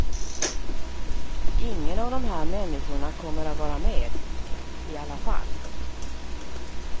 Ingen av de här människorna kommer att var med, i alla fall.